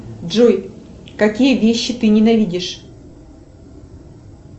джой какие вещи ты ненавидишь